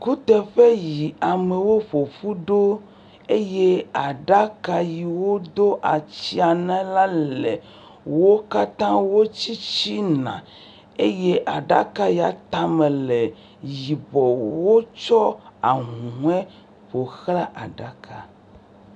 kuteƒe yi amewo ƒoƒu ɖo eye aɖaka yi wó dó atsiã na la le wó katã wó tsitsína eye aɖaka ya tame le yibɔ wótsɔ ahuhoe ƒoxlã aɖaka